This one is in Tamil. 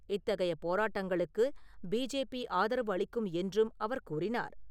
இத்தகைய போரட்டங்களுக்கு பிஜேபி ஆதரவு அளிக்கும் என்றும் அவர் கூறினார்.